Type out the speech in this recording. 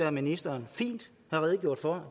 at ministeren fint har redegjort for